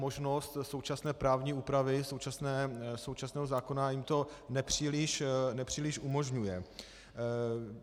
Možnost současné právní úpravy, současného zákona, jim to nepříliš umožňuje.